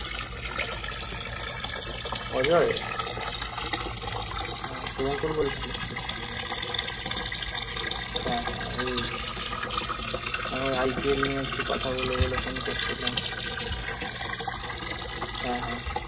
অজয় শুভঙ্কর বলছি হ্যাঁ, হ্যাঁ, ঐ ঐ IPL নিয়ে একটু কথা বলবো বলে ফোন করছিলাম হ্যাঁ হ্যাঁ